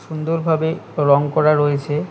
সুন্দরভাবে রঙ করা রয়েছে।